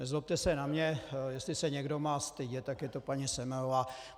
Nezlobte se na mě, jestli se někdo má stydět, tak je to paní Semelová.